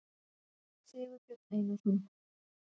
sigurbjörn einarsson